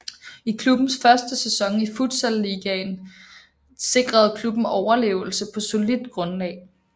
I klubbens første sæson i Futsal Ligaen sikrede klubben overlevelse på solidt grundlag